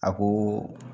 A ko